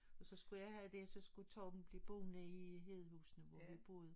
Og så skulle jeg have det og så skulle Torben blive boene i Hedehusene hvor vi boede